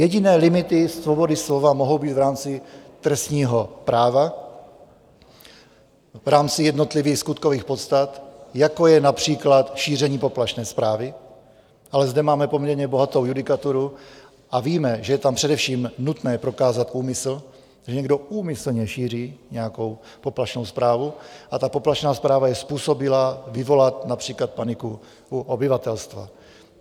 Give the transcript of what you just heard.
Jediné limity svobody slova mohou být v rámci trestního práva v rámci jednotlivých skutkových podstat, jako je například šíření poplašné zprávy, ale zde máme poměrně bohatou judikaturu a víme, že je tam především nutné prokázat úmysl, že někdo úmyslně šíří nějakou poplašnou zprávu, a ta poplašná zpráva je způsobilá vyvolat například paniku u obyvatelstva.